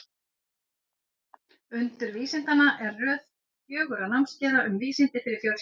Undur vísindanna er röð fjögurra námskeiða um vísindi fyrir fjölskyldur.